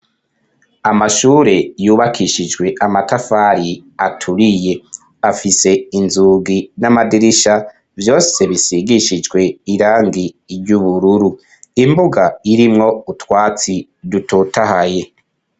Amashure yubakishijwe amatafari aturiye; afise inzugi n'amadirisha vyose bisigishijwe irangi ry'ubururu; imbuga irimwo utwatsi dutotahaye.